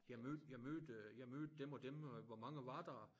Jeg mødte jeg mødte øh jeg mødte dem og dem og hvor mange var der